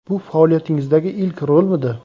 Bu faoliyatingizdagi ilk rolmidi?